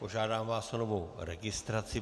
Požádám vás o novou registraci.